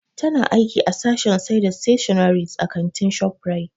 Ta na aiki a sashen sai da stationaries a kantin Shoprite.